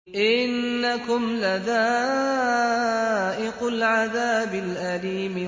إِنَّكُمْ لَذَائِقُو الْعَذَابِ الْأَلِيمِ